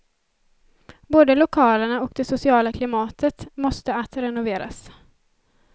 Både lokalerna och det sociala klimatet måste att renoveras.